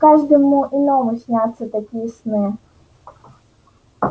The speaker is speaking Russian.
каждому иному снятся такие сны